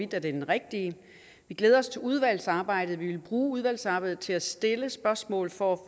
den rigtige vi glæder os til udvalgsarbejdet vi vil bruge udvalgsarbejdet til at stille spørgsmål for at